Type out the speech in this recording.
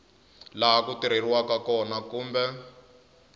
laha ku tirheriwaka kona kumbe